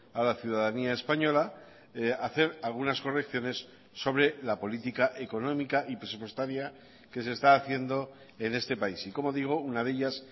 a la ciudadanía española hacer algunas correcciones sobre la política económica y presupuestaria que se está haciendo en este país y como digo una de ellas